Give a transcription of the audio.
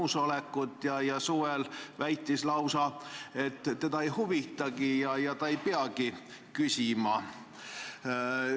Suvel ta lausa väitis, et teda ei huvita ja ta ei peagi küsima.